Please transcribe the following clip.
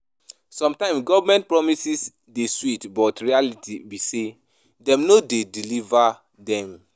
Sometimes government promises dey sweet, but reality be say dem no dey deliver dem.